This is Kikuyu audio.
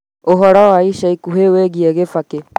ũhoro wa ica ikuhĩ wĩgiĩ kibaki